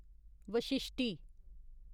Vashishti